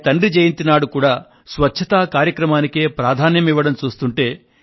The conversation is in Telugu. వారి తండ్రి జయంతి నాడు కూడా స్వచ్ఛత కార్యక్రమానికే ప్రాధాన్యం ఇవ్వడం చూస్తుంటే